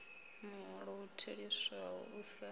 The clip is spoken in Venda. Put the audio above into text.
muholo u theliswaho u sa